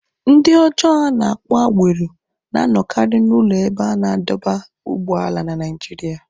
Ndị ọjọọ a na-akpọ agero" na-anọkarị n'ụlọ ebe a na-adọba ụgbọala na Naịjirịa."